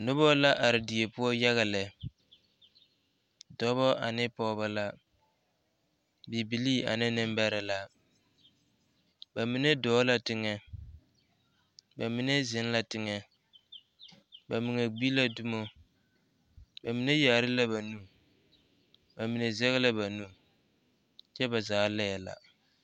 Noba la are die poɔ yaga lɛ dɔba ane Pɔgeba la bibilee ane nembɛrɛ la ba mine dɔɔ la teŋa ba mine zeŋ la teŋa ba mine gbi la dumo ba mine kyaare la ba nu ba mine sɛge la ba nu kyɛ ba zaa laɛ la